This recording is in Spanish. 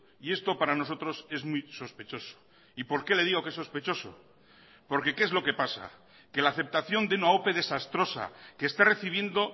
y esto para nosotros es muy sospechoso y por qué le digo que es sospechoso porque qué es lo que pasa que la aceptación de una ope desastrosa que está recibiendo